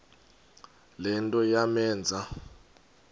le nto yamenza